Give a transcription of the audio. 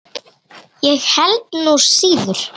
Ég held nú síður.